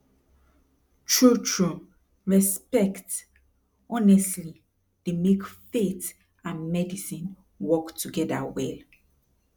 trutru respect honestly dey make faith and medicine work togeda well